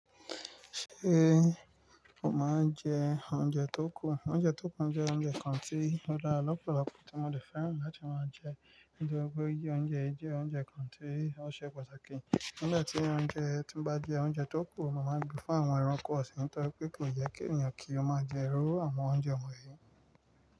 Ṣé o máa ń jẹ oúnjẹ tó kù? Oúnjẹ tó kù jẹ́ oúnjẹ kan tí ó dá ọ̀pọ̀lọpọ̀ tí mo lè fẹ́ràn láti máa jẹ. Gẹ́gẹ́ bí oúnjẹ yìí jẹ́ oúnjẹ kan tí ó ṣe pàtàkì. Nígbà tí oúnjẹ tí bá jẹ́ oúnjẹ tó kù, ó máa ń gbé fún àwọn ẹranko sì tọ́ pé kò yẹ kí ènìyàn kí ó máa jẹ rú àwọn oúnjẹ wọ̀nyí.